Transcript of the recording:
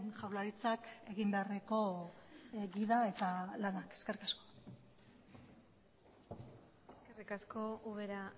jaurlaritzak egin beharreko gida eta lanak eskerrik asko eskerrik asko ubera